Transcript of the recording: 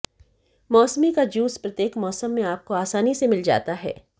मौसमी का जूस प्रत्येक मौसम में आपको आसानी से मिल जाता है